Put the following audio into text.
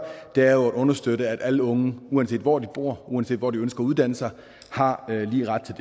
er at understøtte at alle unge uanset hvor de bor og uanset hvor de ønsker at uddanne sig har lige ret til